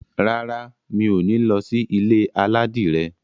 Rárá, mi ò ní lọ sí ilé aládìrẹ.